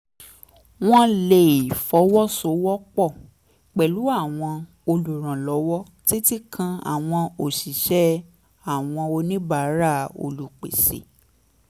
wọ́n lè fọwọ́ sowọ́ pọ̀ pẹ̀lú àwọn olùrànlọ́wọ́ títí kan àwọn òṣìṣẹ́ àwọn oníbàárà àwọn olùpèsè